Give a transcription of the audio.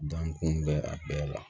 Dankun bɛ a bɛɛ la